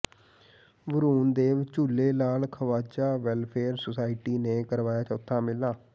Varun Dev Jhule Lal Khwaja welfare society ਨੇ ਕਰਵਾਇਆ ਚੌਥਾ ਮੇਲਾ